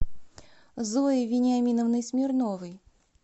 зоей вениаминовной смирновой